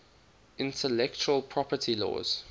intellectual property laws